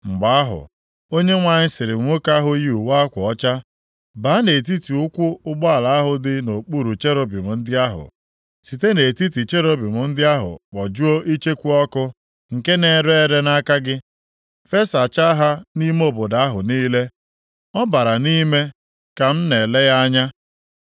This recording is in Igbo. Mgbe ahụ, Onyenwe anyị sịrị nwoke ahụ yi uwe akwa ọcha, “Baa nʼetiti ụkwụ ụgbọala ahụ dị nʼokpuru cherubim ndị ahụ. Site nʼetiti cherubim ndị ahụ kpojuo icheku ọkụ nke na-ere ere nʼaka gị, fesachaa ha nʼime obodo ahụ niile.” Ọ bara nʼime ka m nʼele ya anya.